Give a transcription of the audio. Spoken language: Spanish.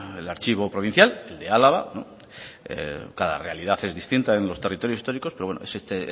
el archivo provincial el de álava no cada realidad es distinta en los territorios históricos pero este